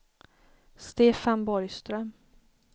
Stefan Borgström